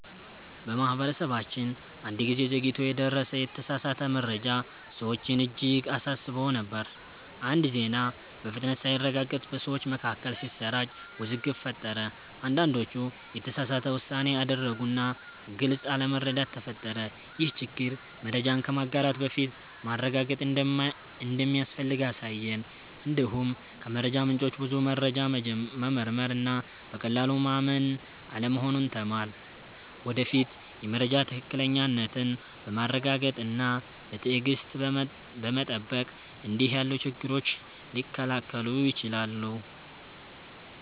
በማህበረሰባችን አንድ ጊዜ ዘግይቶ የደረሰ የተሳሳተ መረጃ ሰዎችን እጅግ አሳስቦ ነበር። አንድ ዜና በፍጥነት ሳይረጋገጥ በሰዎች መካከል ሲሰራጭ ውዝግብ ፈጠረ። አንዳንዶች የተሳሳተ ውሳኔ አደረጉ እና ግልጽ አለመረዳት ተፈጠረ። ይህ ችግር መረጃን ከማጋራት በፊት ማረጋገጥ እንደሚያስፈልግ አሳየን። እንዲሁም ከመረጃ ምንጮች ብዙ መረጃ መመርመር እና በቀላሉ ማመን አለመሆኑን ተማርን። ወደፊት የመረጃ ትክክለኛነትን በማረጋገጥ እና በትዕግሥት በመጠበቅ እንዲህ ያሉ ችግሮች ሊከላከሉ ይችላሉ።